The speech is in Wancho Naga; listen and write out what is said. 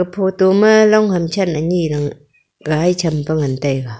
photo ma long ham than ani gai chem pe ngan taiga.